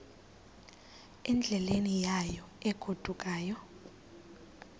endleleni yayo egodukayo